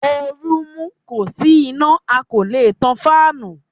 Ooru mú, kò sí iná a kò lè tan fáànù.